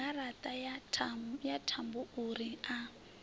yaṋu garaṱa ya thambouri a